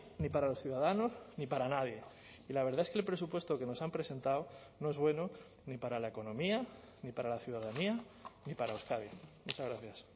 ni para los ciudadanos ni para nadie y la verdad es que el presupuesto que nos han presentado no es bueno ni para la economía ni para la ciudadanía ni para euskadi muchas gracias